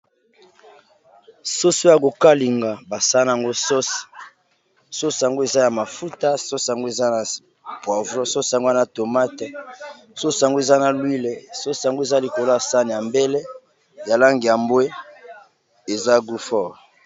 soso ya kokalinga basa yango sosi sosango eza ya mafuta sosango eza na poivo sosangwa na tomate sosango eza na lowile sosango eza likolo ya sane ya mbele ya lange ya mbwe eza gufor